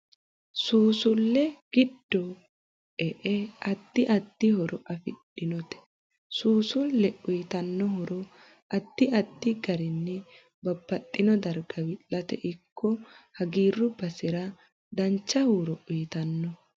Suusulle giddoae addi addi horo afidhinote suusule uyiitanno horo addi addi garinni babbaxino darga wi'late ikko hagiiru basera dancha huuro uyiitanno